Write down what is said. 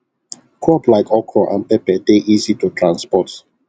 crop like okra and pepper dey easy to transport